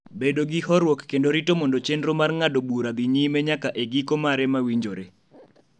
bedo gi horuok kendo rito mondo chenro mar ng�ado bura dhi nyime nyaka e giko mare ma winjore.